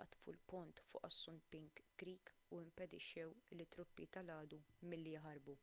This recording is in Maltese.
ħatfu l-pont fuq assunpink creek u impedixxew lit-truppi tal-għadu milli jaħarbu